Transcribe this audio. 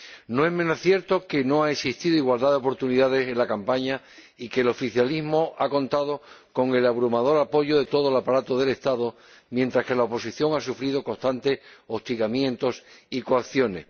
No es menos cierto que no ha existido igualdad de oportunidades en la campaña y que el oficialismo ha contado con el abrumador apoyo de todo el aparato del Estado, mientras que la oposición ha sufrido constantes hostigamientos y coacciones.